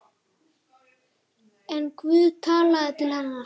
En Guð talaði til hennar.